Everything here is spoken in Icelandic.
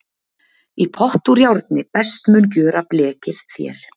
í pott úr járni best mun gjöra blekið þér